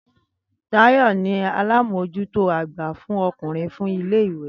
Táyò̩ ni alábòójútó àgbà fún o̩kùnrin fún ilé iwé